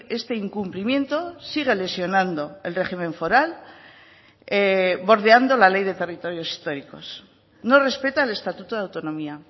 este incumplimiento sigue lesionando el régimen foral bordeando la ley de territorios históricos no respeta el estatuto de autonomía